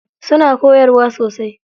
Suna koyarwa sosai.